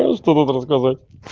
а что тут рассказать